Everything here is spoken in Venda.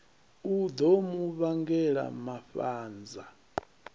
u ḓo mu vhangela mafhanza